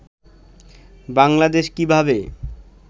বাংলাদেশ কিভাবে